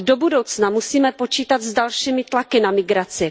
Ale do budoucna musíme počítat s dalšími tlaky na migraci.